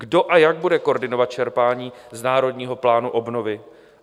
Kdo a jak bude koordinovat čerpání z Národního plánu obnovy?